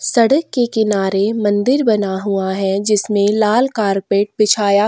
सड़क के किनारे मंदिर बना हुआ है जिसमें लाल कारपेट बिछाया --